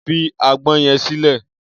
Fi àgbọn yẹn sílẹ̀!